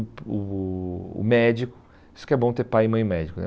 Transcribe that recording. O o o médico, isso que é bom ter pai e mãe médico, né?